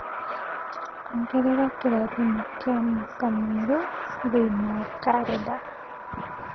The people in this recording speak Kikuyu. ongerera kĩrathimo kĩa mwaka mwerũ thĩinĩ wa kalenda